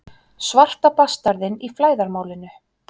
Svarta bastarðinn í flæðarmálinu.